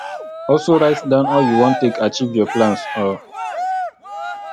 also write down how you won take acheive your plans um